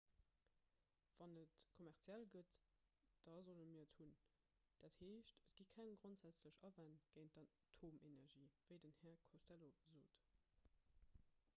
wann et kommerziell gëtt da sollte mir et hunn dat heescht et gi keng grondsätzlech awänn géint d'atomenergie wéi den här costello sot